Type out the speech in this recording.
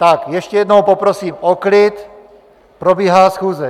Tak ještě jednou poprosím o klid, probíhá schůze.